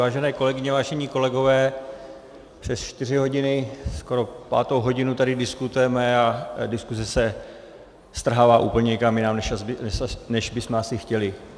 Vážené kolegyně, vážení kolegové, přes čtyři hodiny, skoro pátou hodinu tady diskutujeme a diskuse se strhla úplně někam jinam, než bychom asi chtěli.